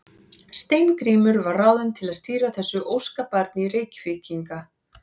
Steingrímur var ráðinn til að stýra þessu óskabarni Reykvíkinga.